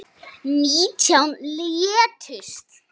Nítján létust.